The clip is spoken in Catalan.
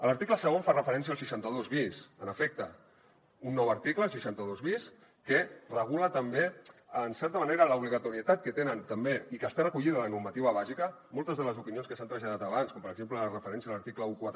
l’article segon fa referència al seixanta dos bis en efecte un nou article el seixanta dos bis que regula també en certa manera l’obligatorietat que tenen també i que està recollida a la normativa bàsica moltes de les opinions que s’han traslladat abans com per exemple la referència a l’article catorze